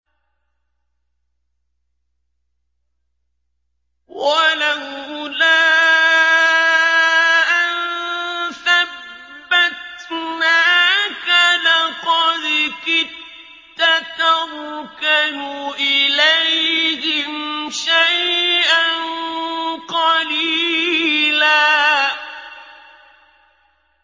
وَلَوْلَا أَن ثَبَّتْنَاكَ لَقَدْ كِدتَّ تَرْكَنُ إِلَيْهِمْ شَيْئًا قَلِيلًا